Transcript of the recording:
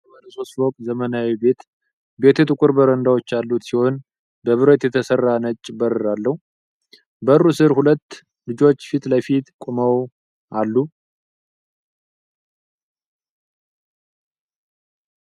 ቀይ ቀለም የተቀባ ባለሶስት ፎቅ ዘመናዊ ቤት ። ቤቱ ጥቁር በረንዳዎች ያሉት ሲሆን በብረት የተሰራ ነጭ በር አለው። በሩ ስር ሁለት ልጆች ፊት ለፊት ቆመው አሉ።